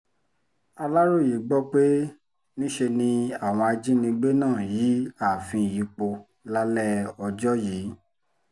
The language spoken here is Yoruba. aláròye gbọ́ pé níṣe ni àwọn ajíngbé náà yìí ààfin yìí pọ̀ lálẹ́ ọjọ́ yìí